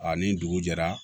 A ni dugu jɛra